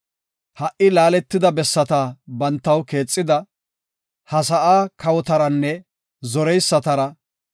Ha77i laaletida bessata bantaw keexida, ha sa7aa kawotaranne zoreysatara,